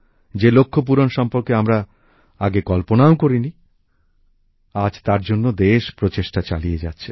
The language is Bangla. যে লক্ষ্যপূরণ সম্পর্কে আমরা আগে কল্পনাও করিনি আজ তার জন্য দেশ প্রচেষ্টা চালিয়ে যাচ্ছে